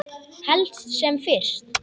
Helst sem fyrst.